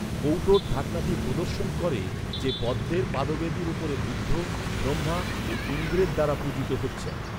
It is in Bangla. কৌটোর ঢাকনাটি প্রদর্শন করে যে, পদ্মের পাদবেদীর উপরে বুদ্ধ, ব্রহ্মা ও ইন্দ্রের দ্বারা পূজিত হচ্ছেন।